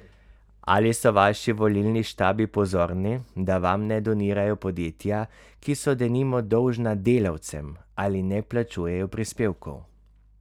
Ali so vaši volilni štabi pozorni, da vam ne donirajo podjetja, ki so denimo dolžna delavcem ali ne plačujejo prispevkov?